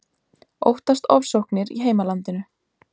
Óttast ofsóknir í heimalandinu